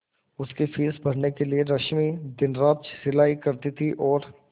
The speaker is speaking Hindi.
उसकी फीस भरने के लिए रश्मि दिनरात सिलाई करती थी और